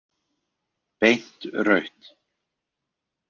Beint rautt.